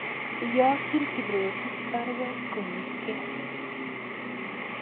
Iyokyin Kiprotich baruet koribge